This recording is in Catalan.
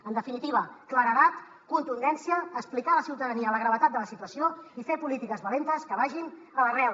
en definitiva claredat contundència explicar a la ciutadania la gravetat de la situació i fer polítiques valentes que vagin a l’arrel